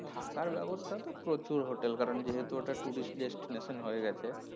থাকার বেবস্থা তো প্রচুর হোটেল কারন যেহেতু ওটা tourist দের nation হয়ে গেছে,